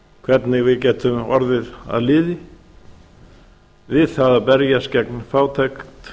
hvernig við getum orðið að liði við það að berjast gegn fátæk